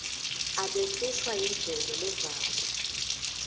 abehlushwa yindlebe levako